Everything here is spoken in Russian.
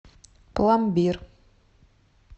пломбир